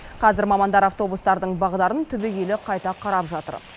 қазір мамандар автобустардың бағдарын түбегейлі қайта қарап жатыр